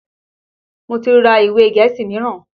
Mo ti ra ìwe gẹ̀ẹ́sì míràn.